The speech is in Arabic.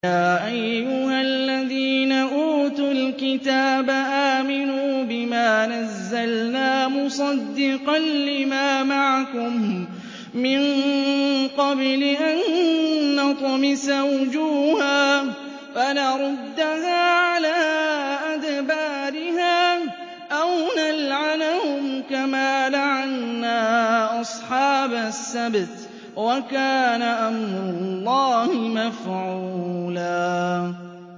يَا أَيُّهَا الَّذِينَ أُوتُوا الْكِتَابَ آمِنُوا بِمَا نَزَّلْنَا مُصَدِّقًا لِّمَا مَعَكُم مِّن قَبْلِ أَن نَّطْمِسَ وُجُوهًا فَنَرُدَّهَا عَلَىٰ أَدْبَارِهَا أَوْ نَلْعَنَهُمْ كَمَا لَعَنَّا أَصْحَابَ السَّبْتِ ۚ وَكَانَ أَمْرُ اللَّهِ مَفْعُولًا